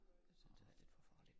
Jeg synes det er lidt for farligt